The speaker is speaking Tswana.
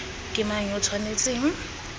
ke mang yo o tshwanetseng